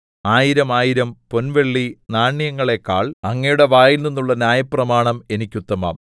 ആയിരം ആയിരം പൊൻവെള്ളി നാണ്യങ്ങളെക്കാൾ അങ്ങയുടെ വായിൽനിന്നുള്ള ന്യായപ്രമാണം എനിക്കുത്തമം യോദ്